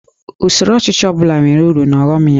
Usoro ọchịchị ọ bụla nwere uru na ọghọm ya